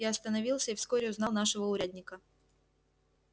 я остановился и вскоре узнал нашего урядника